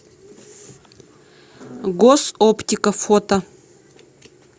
госоптика фото